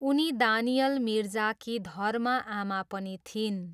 उनी दानियल मिर्जाकी धर्म आमा पनि थिइन्।